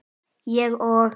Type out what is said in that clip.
Ég og